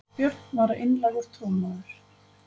Björn var einlægur trúmaður.